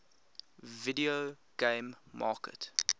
video game market